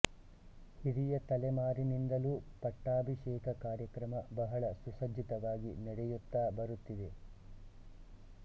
ಹಿರಿಯ ತಲೆಮಾರಿನಿಂದಲೂ ಪಟ್ಟಾಭಿಷೇಕ ಕಾರ್ಯಕ್ರಮ ಬಹಳ ಸುಸಜ್ಜಿತವಾಗಿ ನಡೆಯುತ್ತಾ ಬರುತ್ತಿದೆ